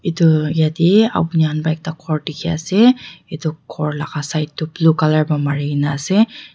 edu yatae apni khan pa ekta khor dikhiase edu khor laka side tu blue colour pra marinaase.